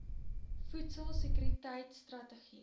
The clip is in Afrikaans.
voedsel sekuriteit strategie